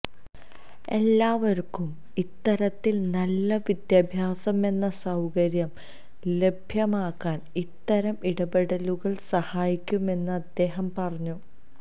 എല്ലാവര്ക്കും ഇത്തരത്തില് നല്ല വിദ്യാഭ്യാസമെന്ന സൌകര്യം ലഭ്യമാക്കാന് ഇത്തരം ഇടപെടലുകള് സഹായിക്കുമെന്ന് അദ്ദേഹം പറഞ്ഞു